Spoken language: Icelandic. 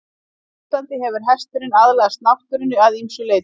Á Íslandi hefur hesturinn aðlagast náttúrunni að ýmsu leyti.